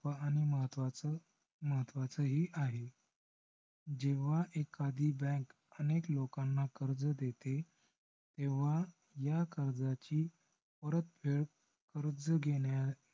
व पण महत्वाचं~ महत्वाचही आहे. जेव्हा एखादी bank अनेक लोकांना कर्ज देते. तेव्हा या कर्जाची परतफेड कर्ज घेण्यास